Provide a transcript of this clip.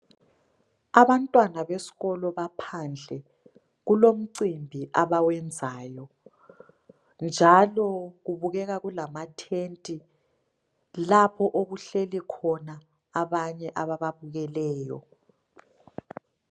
Abantwana besikolo baphandle. Kulomcimbi abawenzayo njalo kubukeka kulamatent lapho okuhleli khona abanye abababukeleyo.